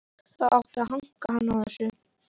Það átti að hanka hann á þessu.